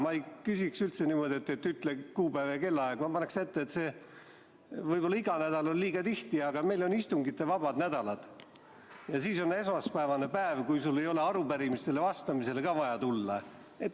Ma ei küsi niimoodi, et ütle kuupäev ja kellaaeg, vaid ma panen ette, et võib-olla iga nädal on liiga tihti, aga meil on istungivabad nädalad ja siis on esmaspäevane päev, kui sul ei ole arupärimistele vastamiseks vaja siia tulla.